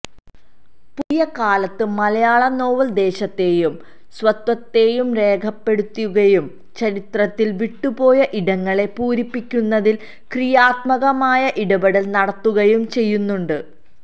പുതിയ കാലത്ത് മലയാള നോവല് ദേശത്തെയും സ്വത്വത്തെയും രേഖപ്പെടുത്തുകയും ചരിത്രത്തില് വിട്ടുപോയ ഇടങ്ങളെ പൂരിപ്പിക്കുന്നതില് ക്രിയാത്മകമായ ഇടപെടല് നടത്തുകയും ചെയ്യുന്നുണ്ട്